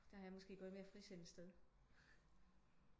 Der har jeg måske gået et mere frisindet sted